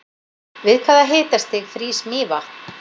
við hvaða hitastig frýs mývatn